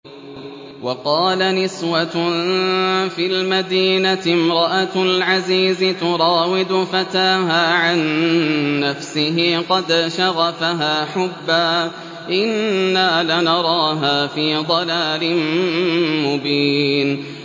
۞ وَقَالَ نِسْوَةٌ فِي الْمَدِينَةِ امْرَأَتُ الْعَزِيزِ تُرَاوِدُ فَتَاهَا عَن نَّفْسِهِ ۖ قَدْ شَغَفَهَا حُبًّا ۖ إِنَّا لَنَرَاهَا فِي ضَلَالٍ مُّبِينٍ